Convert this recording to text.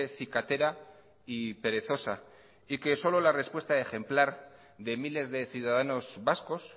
cicatera y perezosa y que solo la respuesta ejemplar de miles de ciudadanos vascos